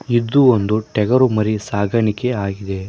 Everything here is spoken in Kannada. ಇದು ಒಂದು ಟಗರು ಮರಿ ಸಾಗಾಣಿಕೆ ಆಗಿದೆ.